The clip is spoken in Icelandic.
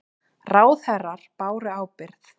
Ráðherrar báru ábyrgð